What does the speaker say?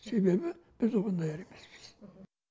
себебі біз оған даяр емеспіз